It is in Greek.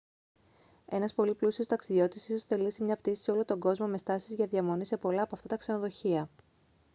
ένας πολύ πλούσιος ταξιδιώτης ίσως θελήσει μια πτήση σε όλο τον κόσμο με στάσεις για διαμονή σε πολλά από αυτά τα ξενοδοχεία